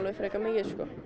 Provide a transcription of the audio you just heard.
frekar mikið